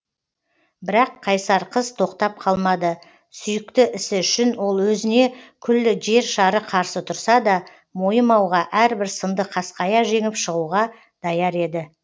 бірақ қайсар қыз тоқтап қалмады сүйікті ісі үшін ол өзіне күллі жер шары қарсы тұрса да мойымауға әрбір сынды қасқая жеңіп шығуға даяр еді